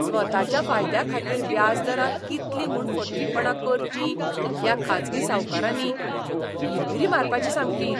स्वताच्या फायद्याखातीर व्याज दरांत कितलीं म्हूण फटींगपणां करचीं ह्या खाजगी सावकारांनी! भिरभिरी मारपाची सामकी.